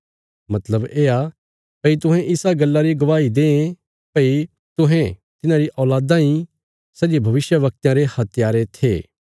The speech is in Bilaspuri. मतलब येआ भई तुहें इसा गल्ला री गवाही दे भई तुहें तिन्हारी औल़ादां ईं सै जे भविष्यवक्तयां रे हत्यारे थे